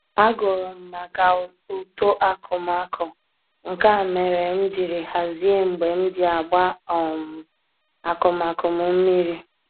Agụrụ m maka uto akụmakụ, nke a mere m jiri hazie mgbe m ji agba um akụmakụ m mmiri